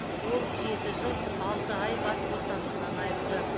ол жеті жыл алты ай бас бостандығынан айырылды